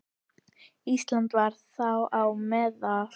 Ísland var þar á meðal.